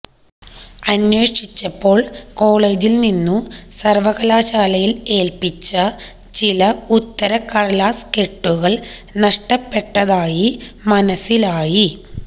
അന്വേഷിച്ചപ്പോൾ കോളജിൽ നിന്നു സർവകലാശാലയിൽ ഏൽപിച്ച ചില ഉത്തരക്കടലാസ് കെട്ടുകൾ നഷ്ടപ്പെട്ടതായി മനസ്സിലായി